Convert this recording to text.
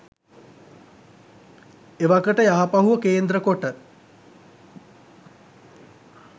එවකට යාපහුව කේන්ද්‍ර කොට